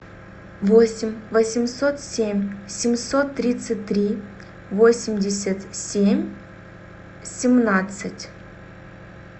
восемь восемьсот семь семьсот тридцать три восемьдесят семь семнадцать